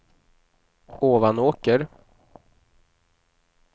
Ovanåker